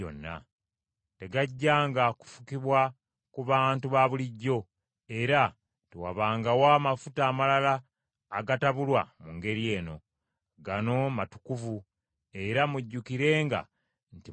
Tegajjanga kufukibwa ku bantu ba bulijjo; era tewabangawo amafuta amalala agatabulwa mu ngeri eno. Gano matukuvu, era mujjukirenga nti matukuvu.